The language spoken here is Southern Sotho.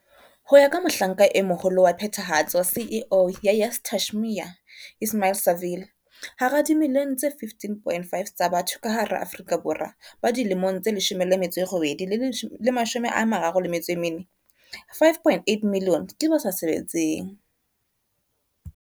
Ho ya ka Mohlanka e Moholo wa phethahatso CEO ya YES Tashmia Ismail-Saville, hara dimilione tse 15.5 tsa batho ka hara Aforika Borwa ba dilemong tse 18 le 34, 5.8 milione ke ba sa sebetseng.